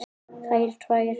Þær tvær.